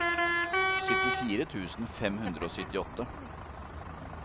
syttifire tusen fem hundre og syttiåtte